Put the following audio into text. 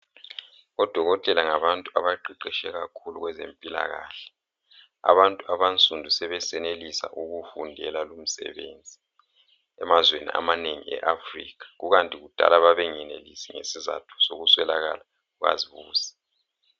Odokotela ngabantu abaqeqetshe kakhulu kwezempilakahle , abantu abansundu sebesenelisa ukuwufundela lomsebenzi, emazweni amanengi e Africa ,kukanti kudala babengenelisi ngesizatho sokuswelakala kukazibuse